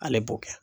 Ale b'o kɛ